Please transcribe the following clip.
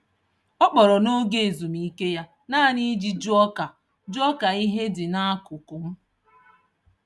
Ọ kpọrọ n'oge ezumike ya naanị iji jụọ ka jụọ ka ihe dị n'akụkụ m.